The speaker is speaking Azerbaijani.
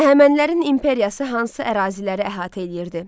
Əhəmənilərin imperiyası hansı əraziləri əhatə eləyirdi?